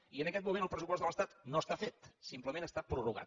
i en aquest moment el pressupost de l’estat no està fet simplement està prorrogat